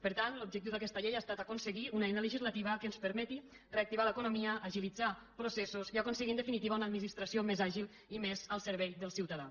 per tant l’objectiu d’aquesta llei ha estat aconseguir una eina legislativa que ens permeti reactivar l’economia agilitzar processos i aconseguir en definitiva una administració més àgil i més al servei del ciutadà